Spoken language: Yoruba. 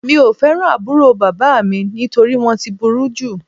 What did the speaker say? Mi ò fẹ́ràn àbúrò bàbá mi nítorí wọ́n ti burú jù